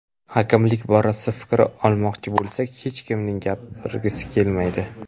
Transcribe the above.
Hakamlik borasida fikr olmoqchi bo‘lsak, hech kimning gapirgisi kelmaydi.